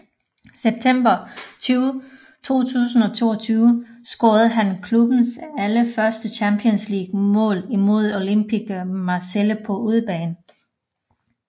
September 2022 scorede han klubbens allerførste Champions League mål imod Olympique Marseille på udebane